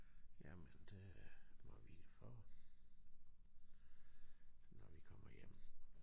Jamen det må vi få når vi kommer hjem